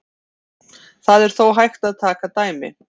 Það er þó hægt að taka dæmi.